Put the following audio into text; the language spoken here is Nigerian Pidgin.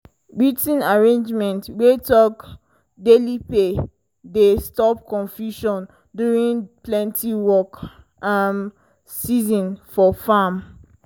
writ ten agreement wey talk daily pay dey stop confusion during plenty work um season for farm.